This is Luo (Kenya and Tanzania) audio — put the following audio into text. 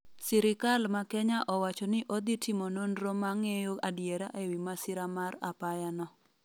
Sirikal ma Kenya owacho ni odhi timo nonro ma ng'eyo adiera ewi masira mar apaya no